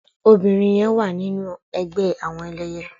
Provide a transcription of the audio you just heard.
Óbirin yèn wá ninú ègbè àwòn èlèyè